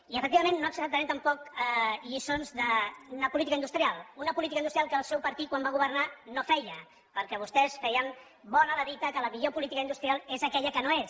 i efectivament no acceptarem tampoc lliçons d’una política industrial una política industrial que el seu partit quan va governar no feia perquè vostès feien bona la dita que la millor política industrial és aquella que no és